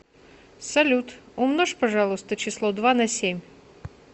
салют умножь пожалуйста число два на семь